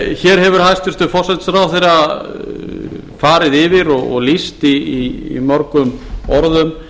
hér hefur hæstvirtur forsætisráðherra farið yfir og lýst í mörgum orðum